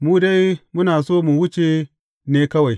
Mu dai muna so mu wuce ne kawai.